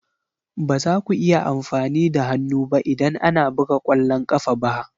Ba za ku iya amfani da hannu ba idan ana buga ƙwallon ƙafa ba